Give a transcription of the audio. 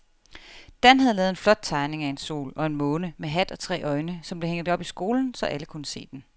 Dan havde lavet en flot tegning af en sol og en måne med hat og tre øjne, som blev hængt op i skolen, så alle kunne se den.